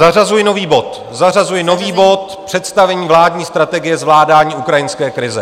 Zařazuji nový bod, zařazuji nový bod - Představení vládní strategie zvládání ukrajinské krize.